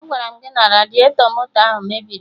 Agwaram gị na radiatọ moto ahụ mebiri!